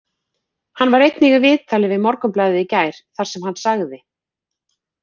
Hann var einnig í viðtali við Morgunblaðið í gær þar sem hann sagði: